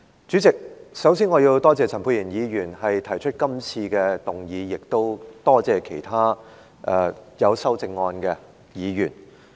主席，首先，我要多謝陳沛然議員提出這項議案，亦多謝其他提出修正案的議員。